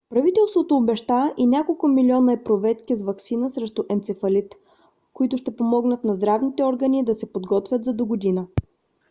правителството обеща и няколко милиона епруветки с ваксина срещу енцефалит които ще помогнат на здравните органи да се подготвят за догодина